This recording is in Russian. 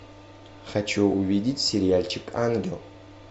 хочу увидеть сериальчик ангел